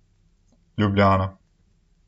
Ljubljana.